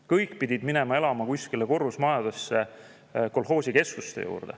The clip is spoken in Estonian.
Kõik pidid minema elama kuskile kolhoosikeskuste korrusmajadesse.